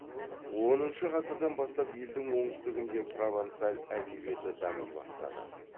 оныншы ғасырдан бастап елдің оңтүстігінде провансаль әдебиеті дами бастады